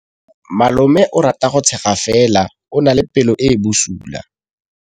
Malomagwe o rata go tshega fela o na le pelo e e bosula.